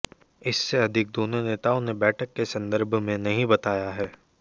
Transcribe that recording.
इससे अधिक दोनों नेताओं ने बैठक के संदर्भ में नहीं बताया है